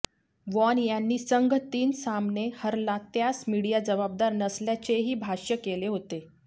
von यांनी संघ तीन सामने हरला त्यास मिडीया जबाबदार नसल्याचेही भाष्य केले होते